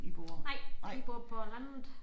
Nej vi bor på landet